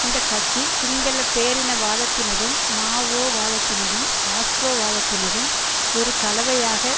இந்த கட்சி சிங்கள பேரினவாதத்தினதும் மா ஓ வாதத்தினதும் காஸ்ட்ரோ வாதத்தினதும் ஒரு கலவையாக